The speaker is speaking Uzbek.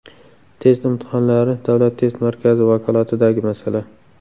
Test imtihonlari Davlat test markazi vakolatidagi masala.